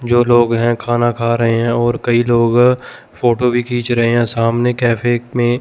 जो लोग हैं खाना खा रहे हैं और कई लोग फ़ोटो भी खींच रहे हैं सामने कैफ़े में--